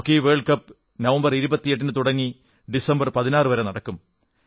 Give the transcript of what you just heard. hockey world cup November 28 ന് തുടങ്ങി December 16 വരെ നടക്കും